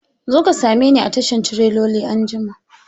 Zo ka same ni a tashan tireloli anjima!